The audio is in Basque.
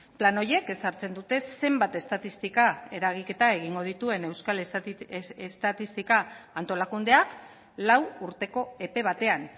plan horiek ezartzen dute zenbat estatistika eragiketa egingo dituen euskal estatistika antolakundeak lau urteko epe batean